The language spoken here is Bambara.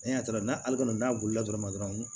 E y'a dɔrɔn n'ale kɔni n'a wulila dɔrɔn